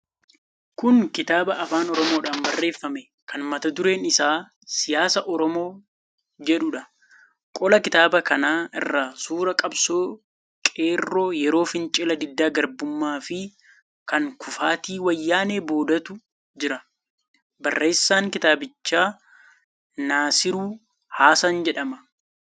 Kun kitaaba afaan Oromoodhaan barreeffame kan mata dureen isaa "Siyaasa Oromoo" jedhuudha. Qola kitaaba kanaa irra suuraa qabsoo qeerroo yeroo fincila diddaa gabrummaafi kan kufaatii Wayyaanee boodaatu jira. Barreessaan kitaabichaa Nasiruu Hasan jedhama.